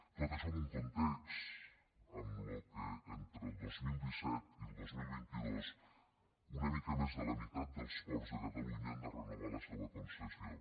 tot això en un context en què entre el dos mil disset i el dos mil vint dos una mica més de la mitat dels ports de catalunya han de renovar la seua concessió